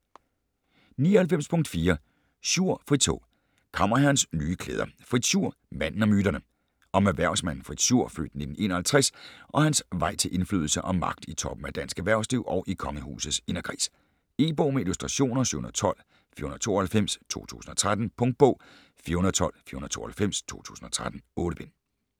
99.4 Schur, Fritz H. Kammerherrens nye klæder: Fritz Schur - manden og myterne Om erhvervsmanden Fritz Schur (f. 1951) og hans vej til indflydelse og magt i toppen af dansk erhvervsliv og i kongehusets inderkreds. E-bog med illustrationer 712492 2013. Punktbog 412492 2013. 8 bind.